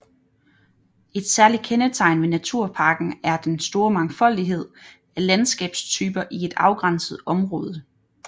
Et særligt kendetegn ved naturparken er den store mangfoldighed af landskabstyper i et afgrænset område